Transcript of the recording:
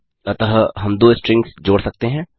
अतः हम दो स्ट्रिंग्स जोड़ सकते हैं